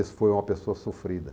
Mas foi uma pessoa sofrida.